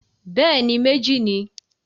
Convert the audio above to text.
Bẹ́ẹ̀ni, méjì ni.